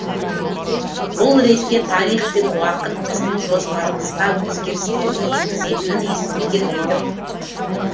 бұл ретте тарих пен уақыт біздің жоспарымызға өзгерістерін енгізетінін ескерген едім